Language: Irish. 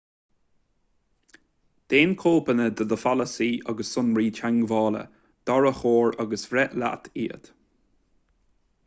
déan cóipeanna do do pholasaí agus sonraí teagmhála d'árachóir agus breith leat iad